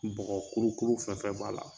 Bɔgɔ kuru kuru fɛn fɛn b'a la.